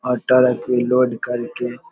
और ट्रक के लोड कर के --